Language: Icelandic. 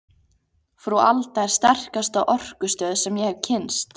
Frú Alda er sterkasta orkustöð sem ég hef kynnst.